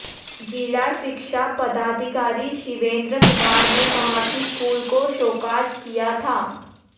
जिला शिक्षा पदाधिकारी शिवेंद्र कुमार ने कहा कि स्कूल काे शोकॉज किया था